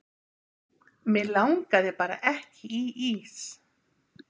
mig langaði bara ekki í ís